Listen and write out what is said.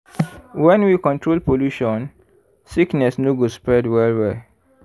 when we control pollution sickness no go spread well-well.